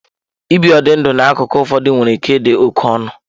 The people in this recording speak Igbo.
Ibi ụdị ndụ n'akụkụ ụfọdụ nwere ike ịdị oke ọnụ.